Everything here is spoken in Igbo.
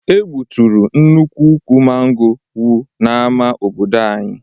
E gbuturu nnukwu ukwu mango wu n'ama obodo anyị.